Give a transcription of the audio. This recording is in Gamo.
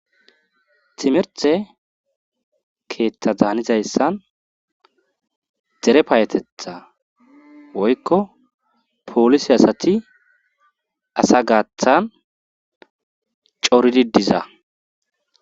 Timirte keeththa daanizayssan dere paayetetha woykko poolisi asati asa gaathan coridi diza